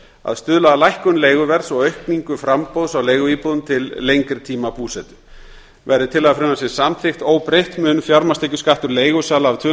að stuðla að lækkun leiguverðs og aukningu framboðs á leiguíbúðum til lengri tíma búsetu verði tillaga frumvarpsins samþykkt óbreytt mun fjármagnstekjuskattur leigusala af tvö